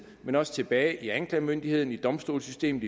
men også tilbage hos anklagemyndigheden i domstolssystemet